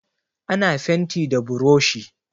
Ana fenti da buroshi.